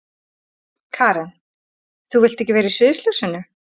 Karen: Þú vilt ekkert vera í sviðsljósinu?